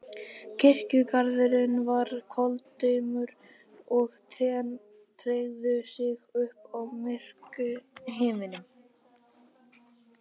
Kirkjugarðurinn var koldimmur og trén teygðu sig upp í myrkan himininn.